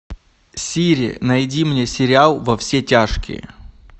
сири найди мне сериал во все тяжкие